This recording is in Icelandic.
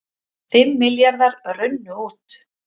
Fimm milljarðar runnu út